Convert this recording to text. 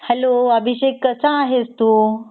Hello Abhishek कसा आहेस तू?